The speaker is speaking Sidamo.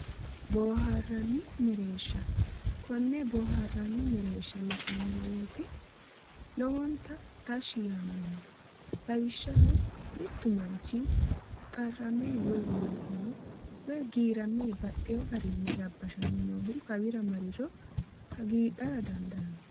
Booharanni mereersha kone booharanni mereerishsha la'nanni weete lowontta tashshi yaanno lawishshaho mittu manchi qarame woyi giirame noohu hakka mare boohaara dandaanno